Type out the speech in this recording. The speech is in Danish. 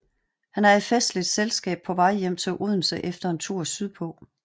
Han er i festligt selskab på vej hjem til Odense efter en tur sydpå